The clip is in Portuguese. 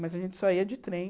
Mas a gente só ia de trem.